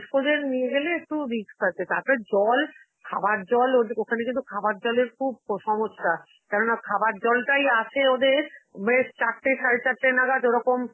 বয়স্কদের নিয়ে গেলে একটু risk আছে, তারপরে জল~ খাবার জল, ওদে~ ওখানে কিন্তু খাবার জলের খুব ক~ সমস্যা, কেননা খাবার জলটাই আছে ওদের, মানে চারটে, সাড়ে চারটে নাগাদ ওরকম,